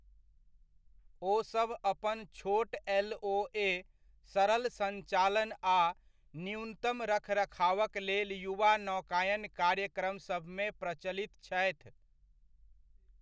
ओसभ अपन छोट एलओए, सरल संचालन आ न्यूनतम रखरखावक लेल युवा नौकायन कार्यक्रमसभमे प्रचलित छथि।